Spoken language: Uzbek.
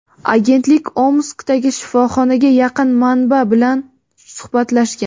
Agentlik Omskdagi shifoxonaga yaqin manba bilan suhbatlashgan.